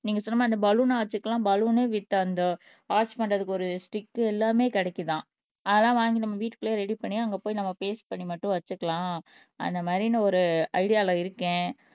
நீங்க சொன்ன மாரி அந்த பலூன் ஆர்ச்சுக்கு எல்லாம் பலூன் வித் அந்த ஆர்ச் பண்றதுக்கு ஒரு ஸ்டிக் எல்லாமே கிடைக்குதாம் அதெல்லாம் வாங்கி நம்ம வீட்டுக்குள்ளேயே ரெடி பண்ணி அங்க போய் நம்ம பேஸ்ட் பண்ணி மட்டும் வச்சுக்கலாம் அந்த மாதிரின்னு ஒரு ஐடியால இருக்கேன்